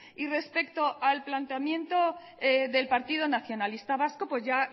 y respecto al planteamiento del partido nacionalista vasco pues ya